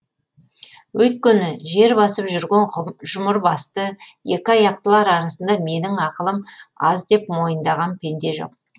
өйткені жер басып жүрген жұмыр басты екі аяқтылар арасында менің ақылым аз деп мойындаған пенде жоқ